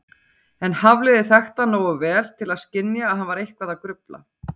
En Hafliði þekkti hann nógu vel til að skynja að hann var eitthvað að grufla.